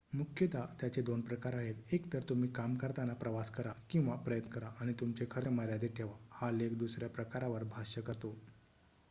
मुख्यत त्याचे दोन प्रकार आहेत एकतर तुम्ही काम करताना प्रवास करा किंवा प्रयत्न करा आणि तुमचे खर्च मर्यादित ठेवा हा लेख दुसऱ्या प्रकारावर भाष्य करतो